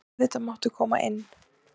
Auðvitað máttu koma inn.